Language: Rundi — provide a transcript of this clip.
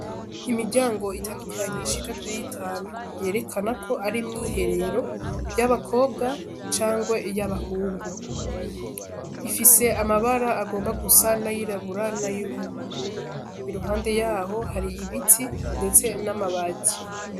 Imiryango itandukanyi ishika kuri itanu yerekana ko ari mw'iherero y'abakobwa cangwe y'abahungu ifise amabara agomba gusa na yiraburana y'uumubururu iruhande yaho hari ibiti, ndetse n'amabaji.